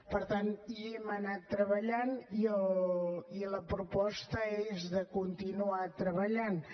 per tant hi hem anat treballant i la proposta és de continuar treballanthi